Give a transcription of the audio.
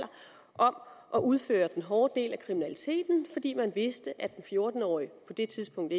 om at udføre den hårde del af kriminaliteten fordi man vidste at den fjorten årige på det tidspunkt